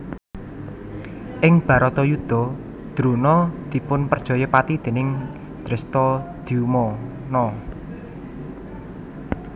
Ing Bharatayudha Drona dipunperjaya pati déning Drestadyumna